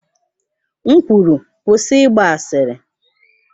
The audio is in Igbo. M kwuru, kwụsị ịgba asịrị!